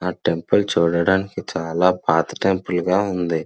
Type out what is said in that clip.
ఆ టెంపుల్ చూడడానికి చాలా పాత టెంపుల్గా ఉంది.